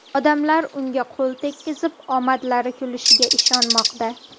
Odamlar unga qo‘l tekkizib, omadlari kulishiga ishonmoqda.